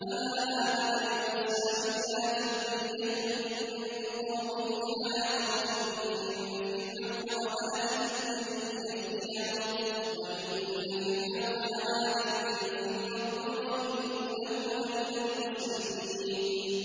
فَمَا آمَنَ لِمُوسَىٰ إِلَّا ذُرِّيَّةٌ مِّن قَوْمِهِ عَلَىٰ خَوْفٍ مِّن فِرْعَوْنَ وَمَلَئِهِمْ أَن يَفْتِنَهُمْ ۚ وَإِنَّ فِرْعَوْنَ لَعَالٍ فِي الْأَرْضِ وَإِنَّهُ لَمِنَ الْمُسْرِفِينَ